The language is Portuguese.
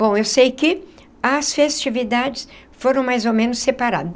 Bom, eu sei que as festividades foram mais ou menos separadas.